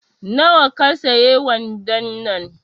Na wa ka siye wandon nan